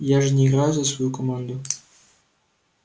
я же не играю за свою команду